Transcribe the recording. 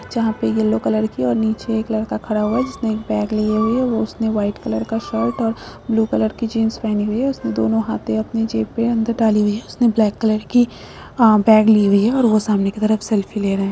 जहाँ पे yellow colour की और नीचे एक लड़का खड़ा हुआ हैं जिसने एक बैग लिए हुए हैं वह उसने वाइट कलर का शर्ट और ब्लू कलर की जीन्स पहनी हुई हैं उसने दोनों हाथे अपने जेब पे अंदर डाली हुई हैं उसने ब्लैक कलर की अ बैग ली हुई हैं और वह सामने की तरफ सेल्फी ले रहे हैं।